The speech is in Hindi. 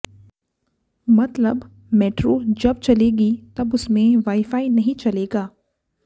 मतलब मेट्रो जब चलेगी तब उसमें वाई फाई नहीं चलेगा